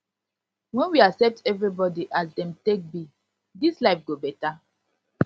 wen we accept everybody as dem take be dis life go beta